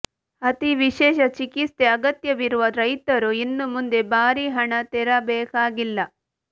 ಅತಿ ವಿಶೇಷ ಚಿಕಿತ್ಸೆ ಅಗತ್ಯವಿರುವ ರೈತರು ಇನ್ನು ಮುಂದೆ ಭಾರೀ ಹಣ ತೆರಬೇಕಾಗಿಲ್ಲ